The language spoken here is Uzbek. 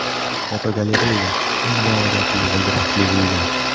Fotogalereya: Eng noodatiy g‘ildirakli uylar.